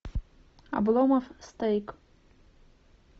обломов стейк